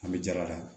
An bɛ jala ta